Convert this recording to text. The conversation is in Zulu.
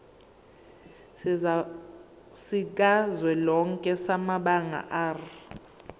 sikazwelonke samabanga r